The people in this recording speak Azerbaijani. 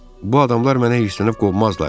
Bu adamlar mənə hirslənib qovmazlar.